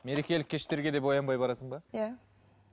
мерекелік кештерге де боянбай барасың ба иә